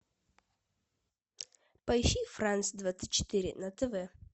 поищи франс двадцать четыре на тв